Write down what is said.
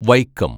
Vaikom